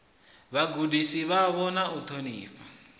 vhagudisi vhavho na u ṱhonifhana